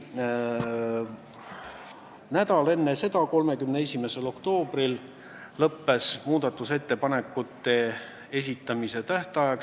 Nädal enne seda, 31. oktoobril lõppes muudatusettepanekute esitamise tähtaeg.